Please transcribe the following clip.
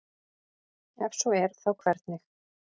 ef svo er þá hvernig